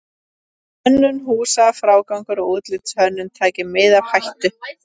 Hönnun húsa, frágangur og útlitshönnun taki mið af hættu.